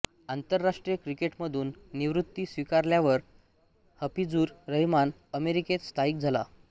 आंतरराष्ट्रीय क्रिकेटमधून निवृत्ती स्वीकारल्यावर हफीझुर रहमान अमेरिकेत स्थायिक झाला